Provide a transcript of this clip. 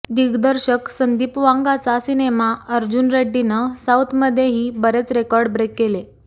दिग्दर्शक संदीप वांगाचा सिनेमा अर्जुन रेड्डीनं साऊथमध्ये ही बरेच रेकॉर्ड ब्रेक केले